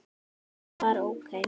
Hann var ókei.